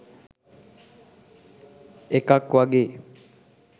එකක් වගේ.